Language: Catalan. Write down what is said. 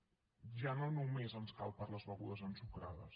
ja no només ens cal per a les begudes ensucrades